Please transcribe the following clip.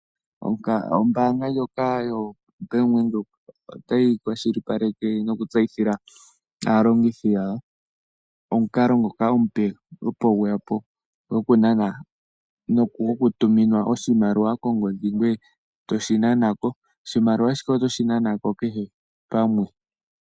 Ombaanga ndjoka yoBank Windhoek otayi kwashilipaleke nokutseyithila aalongithi yawo omukalo ngoka omupe opo gweya po gokutuminwa oshimaliwa kongodhi goye toshi nana ko. Oshimaliwa shika otoshi nana ko kehe pamwe.